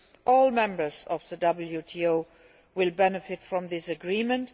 All members of the WTO will benefit from this agreement.